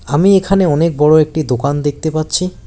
আমি এখানে অনেক বড় একটি দোকান দেখতে পাচ্ছি।